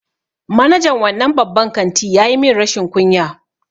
Manajan wannan babban kanti ya yi min rashin kunya.